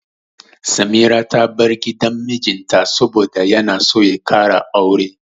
Samira ta bar gidan mijinta saboda yana so ya ƙara aure.